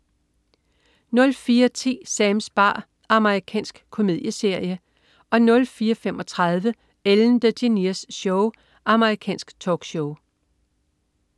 04.10 Sams bar. Amerikansk komedieserie 04.35 Ellen DeGeneres Show. Amerikansk talkshow